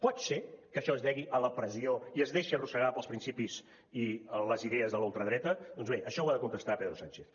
pot ser que això es degui a la pressió i es deixi arrossegar pels principis i les idees de la ultradreta doncs bé això ho ha de contestar pedro sánchez